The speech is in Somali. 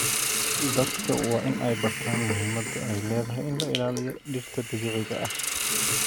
Dadka waa in ay bartaan muhiimada ay leedahay in la ilaaliyo dhirta dabiiciga ah.